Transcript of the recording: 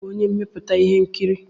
Ònye bụ onye mmepụta ihe nkiri?